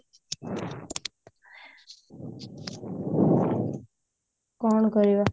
କଣ କରିବା